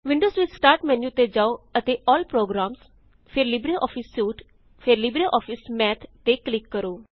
windows ਵਿੱਚ start menu ਤੇ ਜਾਓ ਅਤੇ ਏਐਲਐਲ ਪ੍ਰੋਗਰਾਮਜ਼ ਜੀਟੀ ਫੇਰ ਲਿਬਰਿਓਫਿਸ ਸੂਟ ਜੀਟੀ ਅਤੇ ਫੇਰ ਲਿਬਰਿਓਫਿਸ ਮੱਠ ਤੇ ਕ੍ਲਿਕ ਕਰੋ